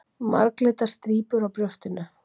Marglitar strípur á brjóstinu.